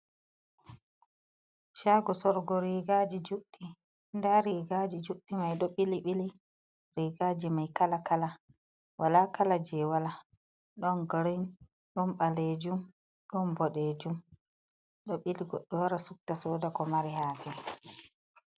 Caago sorugo riigaaji juuɗɗi, nda riigaaji juuɗɗi mai ɗo bili-bili, riigaaji mai kala-kala walaa kala jey wala, ɗon girin, ɗon ɓaleejum, ɗon boɗeejum, ɗo bili, goɗɗo wara suɓta sooda ko mari haaje.